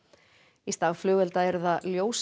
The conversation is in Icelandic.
í stað flugeldanna eru það